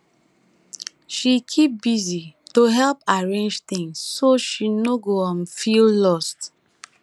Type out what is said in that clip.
she keep busy to help arrange things so she no go um feel lost